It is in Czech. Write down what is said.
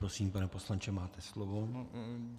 Prosím, pane poslanče, máte slovo.